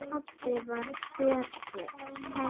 Pabbi var hetja.